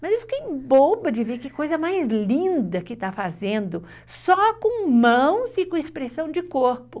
Mas eu fiquei boba de ver que coisa mais linda que está fazendo, só com mãos e com expressão de corpo.